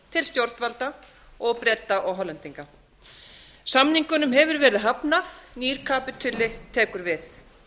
til stjórnvalda til breta og hollendinga samningunum hefur verið hafnað nýr kapítuli tekur við